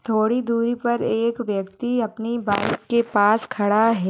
थोडी दूरी पर एक व्यक्ति अपनी बाइक के पास खडा है।